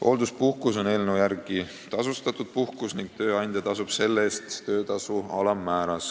Hoolduspuhkus on eelnõu järgi tasustatud puhkus ning tööandja tasub selle eest töötasu alammääras.